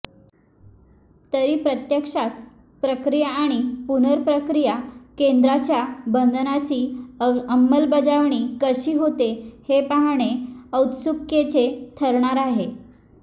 तरी प्रत्यक्षात प्रक्रिया आणि पुनप्र्रक्रिया केंद्राच्या बंधनाची अंमलबजावणी कशी होते हे पाहणे औत्सुक्याचे ठरणार आहे